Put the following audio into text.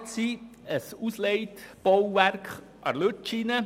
Geplant ist ein Ausleitbauwerk an der Lütschine.